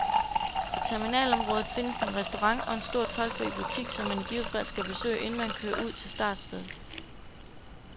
På terminalområdet findes en restaurant og en stor toldfri butik, som man i givet fald skal besøge, inden man kører ud til startstedet.